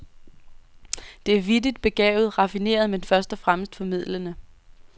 Det er vittigt, begavet, raffineret, men først og fremmest formidlende.